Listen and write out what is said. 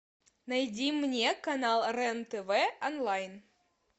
найди мне канал рен тв онлайн